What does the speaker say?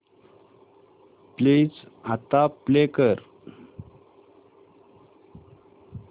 please आता play कर